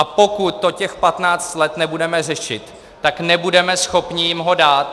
A pokud to těch patnáct let nebudeme řešit, tak nebudeme schopni jim ho dát.